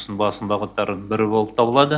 басым бағыттары бірі болып табылады